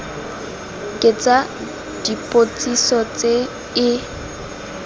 ke tsa dipotsiso tse e